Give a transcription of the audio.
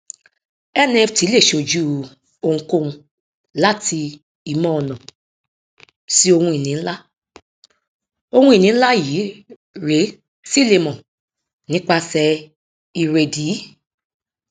nft lè ṣojú ohunkóhun láti ìmọọnà sí ohunìní ńlá ohunìní ńlá iyì rẹ sì lè mọ nípasẹ ìrèdíi